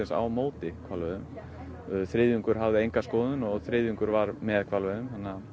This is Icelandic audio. á móti hvalveiðum þriðjungur hafði enga skoðun og þriðjungur var með hvalveiðum